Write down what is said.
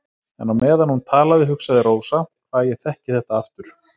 En á meðan hún talaði hugsaði Rósa: Hvað ég þekki þetta aftur.